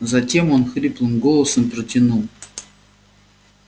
затем он хриплым голосом протянул